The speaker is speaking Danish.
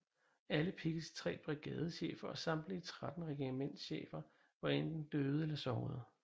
Alle Picketts tre brigadechefer og samtlige 13 regimentschefer var enten døde eller sårede